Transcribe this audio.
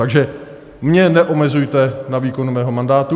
Takže mě neomezujte na výkonu mého mandátu.